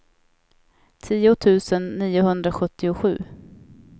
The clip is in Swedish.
tio tusen niohundrasjuttiosju